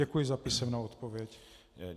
Děkuji za písemnou odpověď.